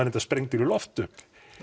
reyndar sprengdur í loft upp